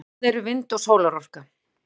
hvað eru vind og sólarorka